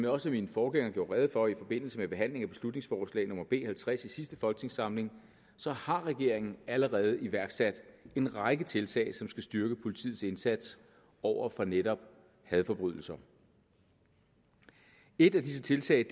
også min forgænger gjorde rede for i forbindelse med behandlingen af beslutningsforslag nummer b halvtreds i sidste folketingssamling har regeringen allerede iværksat en række tiltag som skal styrke politiets indsats over for netop hadforbrydelser et af disse tiltag